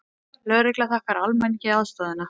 Lögregla þakkar almenningi aðstoðina